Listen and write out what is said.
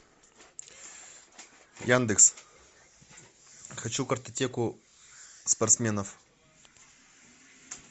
яндекс хочу картотеку спортсменов